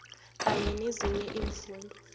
kanye nezinye iimfundo